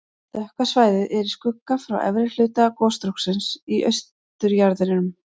Dökka svæðið er í skugga frá efri hluta gosstróksins í austurjaðrinum.